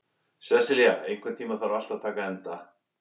Sesilía, einhvern tímann þarf allt að taka enda.